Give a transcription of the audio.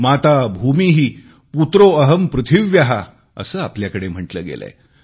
माता भूमि पुत्रो अहम् पृथिव्या असे आपल्याकडे म्हटले गेलेय